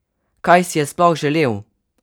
Kaj si je sploh želel?